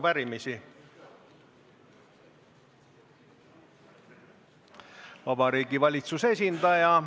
Veronika Portsmuthi Kooriakadeemia kontsertkoori esituses kõlas Doris Kareva ja Tõnu Kõrvitsa laul pealkirjaga "Emakeelelaul".